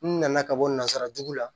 N nana ka bɔ nanzara jugu la